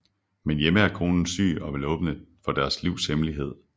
Men hjemme er konen syg og vil åbne for deres livs hemmelighed